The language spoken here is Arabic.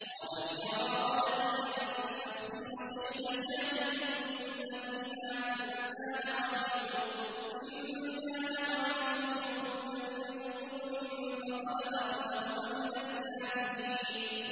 قَالَ هِيَ رَاوَدَتْنِي عَن نَّفْسِي ۚ وَشَهِدَ شَاهِدٌ مِّنْ أَهْلِهَا إِن كَانَ قَمِيصُهُ قُدَّ مِن قُبُلٍ فَصَدَقَتْ وَهُوَ مِنَ الْكَاذِبِينَ